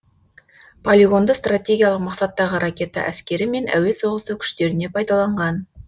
полигонды стратегиялық мақсаттағы ракета әскері мен әуе соғысы күштеріне пайдаланған